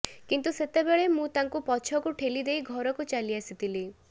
କିନ୍ତୁ ସେତେବେଳେ ମୁଁ ତାଙ୍କୁ ପଛକୁ ଠେଲିଦେଇ ଘରକୁ ଚାଲି ଆସିଥିଲି